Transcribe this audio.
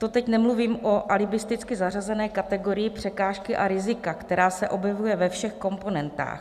To teď nemluvím o alibisticky zařazené kategorii překážky a rizika, která se objevuje ve všech komponentách.